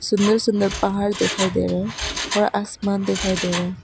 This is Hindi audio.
सुंदर सुंदर पहाड़ दिखाई दे रहे हैं और आसमान दिखाई दे रहा है।